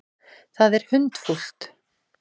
Það er hundfúlt.